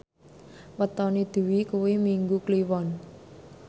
wetone Dwi kuwi Minggu Kliwon